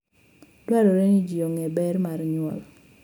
Dwarore ni ji ong'e ber mar nyuol.